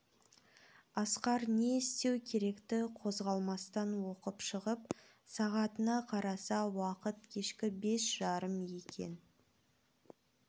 асқар не істеу керекті қозғалмастан оқып шығып сағатына қараса уақыт кешкі бес жарым екен